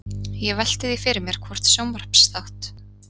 Ég velti því fyrir mér hvort sjónvarpsþátt